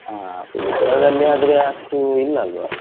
ಹ, Pilikula ದಲ್ಲಿ ಆದ್ರೆ ಅಷ್ಟು ಇಲ್ಲಲ್ವ.